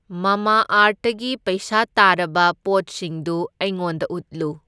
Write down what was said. ꯃꯥꯃꯥ ꯑꯥꯔꯠꯇꯒꯤ ꯄꯩꯁꯥ ꯇꯥꯔꯕ ꯄꯣꯠꯁꯤꯡꯗꯨ ꯑꯩꯉꯣꯟꯗ ꯎꯠꯂꯨ꯫